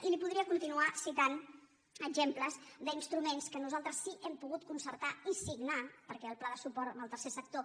i li podria continuar citant exemples d’instruments que nosaltres sí que hem pogut concertar i signar perquè el pla de suport amb el tercer sector